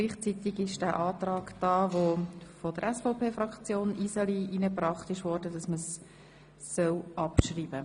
Gleichzeitig haben wir den Antrag Iseli auf Abschreibung des Vorstosses.